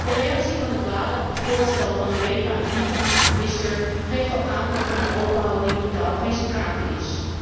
De reactie van het WADA op het voorstel van UEFA en FIFA van gisteren geeft al aan dat van een open houding totaal geen sprake is.